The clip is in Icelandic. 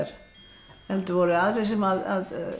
heldur voru aðrir sem